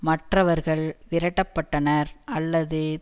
மற்றவர்கள் விரட்டப்பட்டனர் அல்லது